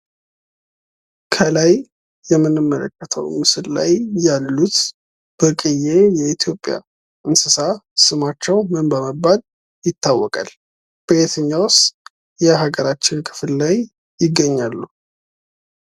ከላይ የምንመለከተው ምስል ላይ ያሉት ብርቅየ የኢትዮጵያ እንስሳ ስማቸው ምን በመባል ይታወቃል? በየትኛውስ የሀገራችን ክፍል ላይ ይገኛሉ?